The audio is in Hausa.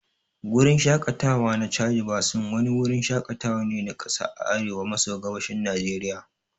Gurin Shakatawa na Chadi Basin wani wurin shakatawa ne na kasa a arewa maso gabashin Najeriya